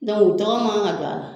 u tɔgɔ man ka don a la